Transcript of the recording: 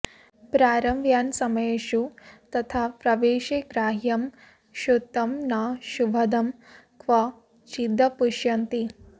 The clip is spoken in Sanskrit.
प्रारम्भयानसमयेषु तथा प्रवेशे ग्राह्यं क्षुतं न शुभदं क्व चिदप्युशन्ति